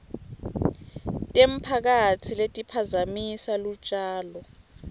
temphakatsi letiphazamisa lutjalo